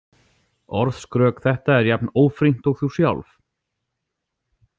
Orðskrök þetta er jafn ófrýnt og þú sjálf.